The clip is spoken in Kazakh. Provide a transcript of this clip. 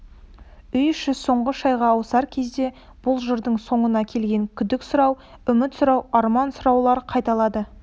үй іші соңғы шайға ауысар кезде бұл жырдың соңына келген күдік сұрау үміт сұрау арман сұраулар қайталады